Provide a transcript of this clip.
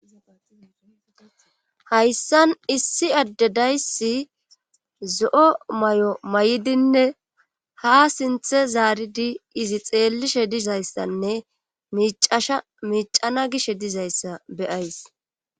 hayssan issi addedaysi zo7o may7o may7idinne ha sinthe zaaridi izi xeellishe dizayssanne micasha miicana gish dizayssa beyays